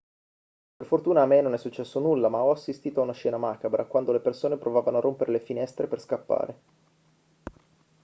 per fortuna a me non è successo nulla ma ho assistito a una scena macabra quando le persone provavano a rompere le finestre per scappare